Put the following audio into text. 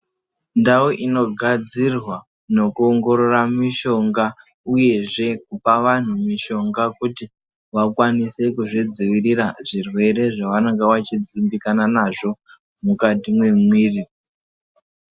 Ndau inogadzirwa nokuongorora mishonga uyezve kupa vanhu mishonga kuti vakwanise kuzvidzivirira zvirwere zvavanenge vachidzimbikana nazvo mukati mwemwiri.